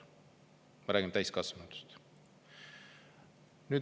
Me räägime täiskasvanutest.